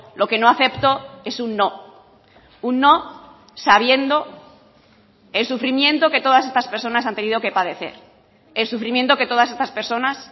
lo que no acepto es un no un no sabiendo el sufrimiento que todas estas personas han tenido que padecer el sufrimiento que todas estas personas